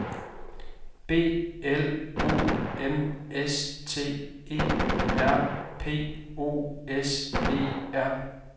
B L O M S T E R P O S E R